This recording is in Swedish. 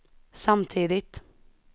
samtidigt